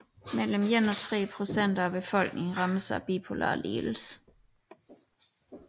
Mellem 1 og 3 procent af befolkningen rammes af bipolar lidelse